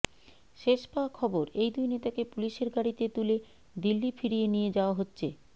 শেষ পাওয়া খবর এই দুই নেতাকে পুলিশের গাড়িতে তুলে দিল্লি ফিরিয়ে নিয়ে যাওয়া হচ্ছে